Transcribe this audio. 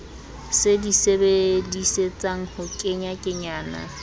se di sebedisetsang ho kenyakenyana